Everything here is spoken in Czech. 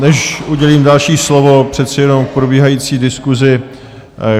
Než udělím další slovo, přece jenom k probíhající diskusi.